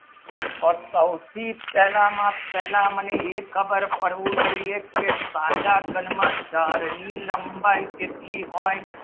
તો સૌથી પહેલા માં પહેલા મને એ ખબર જુએ તે સાદા ઘણ માં ગહર ની લંબાઈ કેટલી હોય